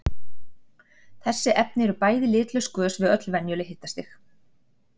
Þessi efni eru bæði litlaus gös við öll venjuleg hitastig.